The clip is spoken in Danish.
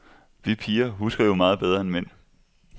Vi piger husker jo meget bedre end mænd.